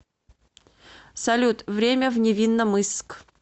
салют время в невинномысск